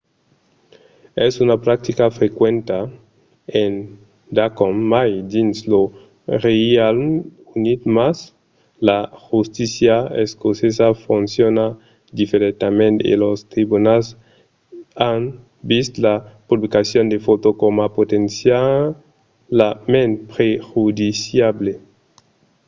es una practica frequenta endacòm mai dins lo reialme unit mas la justícia escocesa fonciona diferentament e los tribunals an vist la publicacion de fòtos coma potencialament prejudiciable